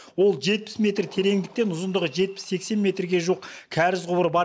ол жетпіс метр тереңдіктен ұзындығы жетпіс сексен метрге жуық кәріз құбыры бар